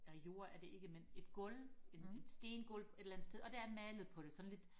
nej jord er det ikke men et gulv et et stengulv et eller andet sted og der er malet på det sådan lidt